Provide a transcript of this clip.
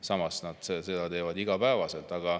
Samas teevad nad seda igapäevaselt.